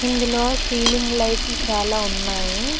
ఇందులో సీలింగ్ లైట్లు చాలా ఉన్నాయి.